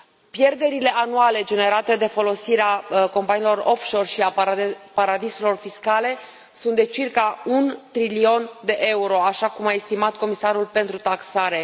Pierderile anuale generate de folosirea companiilor offshore și a paradisurilor fiscale sunt de circa un trilion de euro, așa cum a estimat comisarul pentru taxare.